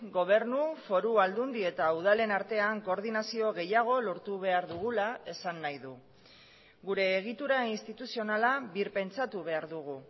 gobernu foru aldundi eta udalen artean koordinazio gehiago lortu behar dugula esan nahi du gure egitura instituzionala birpentsatu behar dugu